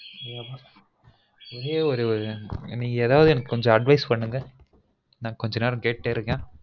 என்னப்பா ஒரே ஒரு நீங்க ஏதாவது advice பண்ணுங்க நான் கொஞ்ச நேரம் கேட்டுட்டே இருக்கன்